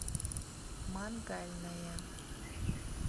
мангальная